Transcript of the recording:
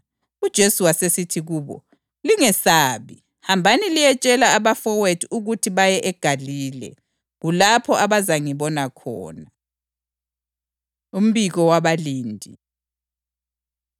UJesu wasesithi kubo, “Lingesabi. Hambani liyetshela abafowethu ukuthi baye eGalile; kulapho abazangibona khona.” Umbiko Wabalindi